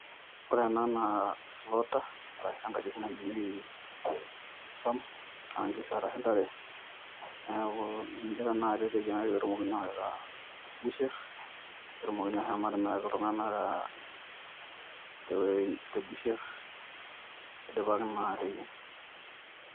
Ore ena naa slaughter arashu enkagi nayiengi suam aa enkishu arashu intare neeku niche tanakata eteyiangaki pee etumokini awaita busher. pee etumoki ashom atimiraki iltunganak te busher eidipaki naa ateyieng '.